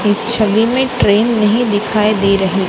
इस छवि में ट्रैन नहीं दिखाई दे रही--